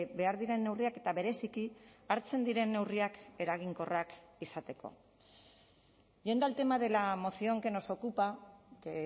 behar diren neurriak eta bereziki hartzen diren neurriak eraginkorrak izateko yendo al tema de la moción que nos ocupa que